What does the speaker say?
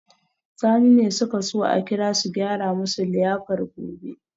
Sani ne suke so a kira su gyara musu liyafar gobe